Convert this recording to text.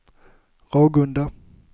Ragunda